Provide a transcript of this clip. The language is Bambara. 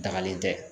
Dagalen tɛ